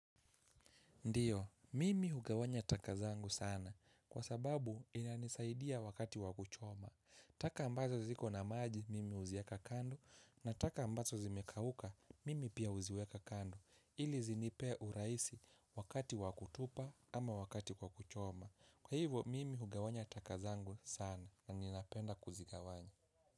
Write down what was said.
Ndiyo, mimi hugawanya taka zangu sana kwa sababu inanisaidia wakati wakuchoma. Taka ambazo ziko na maji mimi huziweka kando na taka ambazo zimekauka mimi pia huziweka kando ili zinipe urahisi wakati wakutupa ama wakati kwa kuchoma. Kwa hivyo mimi hugawanya taka zangu sana na ninapenda kuzikagawanya.